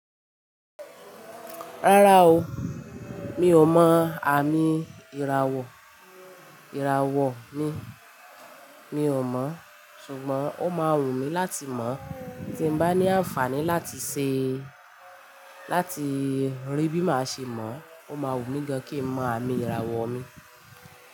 Rárá o, mi ò mọ àmì ìràwọ̀, ìràwọ̀ mi, mi ò mọ̀, ṣùgbọ́n ó máa wùmí láti mọ̀ tí n bá ní àǹfààní láti ṣe, láti rí bí màá ṣe mọ̀, ó máa wùmí gán kí n mọ àmì ìràwọ̀ mi.